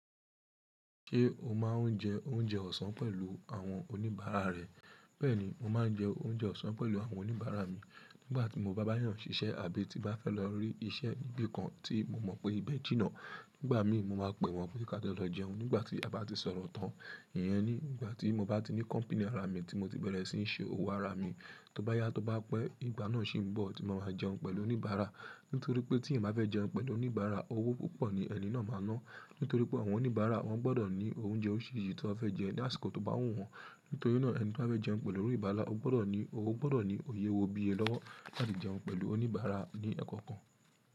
Ṣé o máa ń jẹ oúnjẹ ọ̀sán pẹ̀lú àwọn oníbàárà rẹ? Bẹ́ẹ̀ni, mo máa ń jẹ oúnjẹ ọ̀sán pẹ̀lú àwọn oníbàárà mi. Nígbà tí mo bá ba yàn ṣiṣẹ́ àbí tí bá fẹ́ lọ rí iṣẹ́ níbí kan tí mo mọ̀ pé ibẹ̀ jìnnà. Nígbà míì mo máa pè wọ́n kí a jo lọ jẹun nígbà tí a bá ti sọ̀rọ̀ tán. Ìyẹn ni nígbà tí mo bá ti ní kọ̀mpínì ara mi tí mo ti bẹ̀rẹ̀ sí í ṣe owó ara mi, tó bá yá tó bá pẹ́, ìgbà náà ṣì ń bọ̀ tí mo máa jẹun pẹ̀lú oníbàárà. Nítorí pé tí èeyab bá fẹ́ jẹun pẹ̀lú oníbàárà, owó púpọ̀ ni ẹni náà máa ná. Nítorí pé àwọn oníbàárà wọ́n gbọ́dọ̀ ní oúnjẹ orísìírísìí tí wọ́n fẹ́ jẹ ní àsìkò tó bá wù wọ́n. Nítorí náà ẹni tí ó bá fẹ́ jẹun pẹ̀lú oníbàárà, o gbọ́dọ̀ ní, o gbọ́dọ̀ ní òye owó bí i ẹ lọ́wọ́ láti jẹun pẹ̀lú oníbàárà ní ẹkọ̀kan.